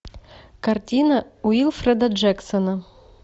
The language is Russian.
картина уилфреда джексона